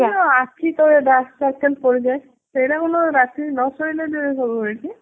ସେଇ ଯଉ ଆଖି ତଳେ dark circle ପଡିଯାଏ ସେଇଟା କଣ ରାତି ରେ ନ ଶୋଇଲେ ହୁଏ କି?